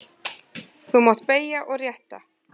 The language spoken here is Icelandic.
Þá má beygja og rétta.